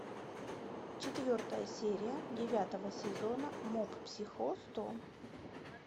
четвертая серия девятого сезона моб психо сто